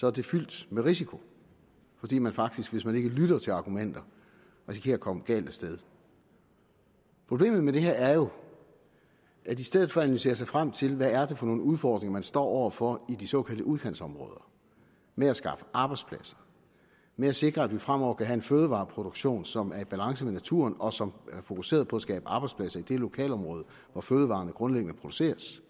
er det fyldt med risiko fordi man faktisk hvis man ikke lytter til argumenter risikerer at komme galt af sted problemet med det her er jo at i stedet for at analysere sig frem til hvad det er for nogle udfordringer de står over for i de såkaldte udkantsområder med at skaffe arbejdspladser med at sikre at vi fremover kan have en fødevareproduktion som er i balance med naturen og som er fokuseret på at skabe arbejdspladser i det lokalområde hvor fødevarerne grundlæggende produceres